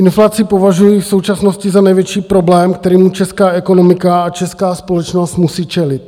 Inflaci považuji v současnosti za největší problém, kterému česká ekonomika a česká společnost musí čelit.